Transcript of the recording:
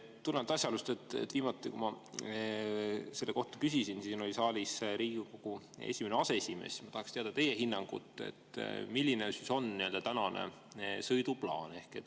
Tulenevalt asjaolust, et viimati, kui ma selle kohta küsisin, oli siin saalis Riigikogu esimene aseesimees, ma tahan teada teie hinnangut, milline on tänane sõiduplaan.